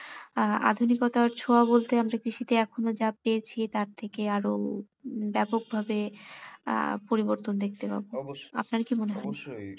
আহ আধুনিকতার ছোঁয়া বলতে কৃষিতে এখনও যা পেয়েছি তার থেকে আরও ব্যাপক ভাবে আহ পরিবর্তন দেখতে পাবো আপনার কী মনে হয়?